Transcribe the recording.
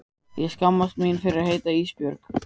Ég skammast mín fyrir að heita Ísbjörg.